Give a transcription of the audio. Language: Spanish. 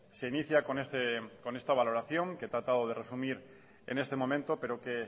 se inicia con este esta valoración que he tratado de resumir en este momento pero que